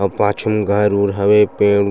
अऊ पाछु म घर वर हवे पेड़--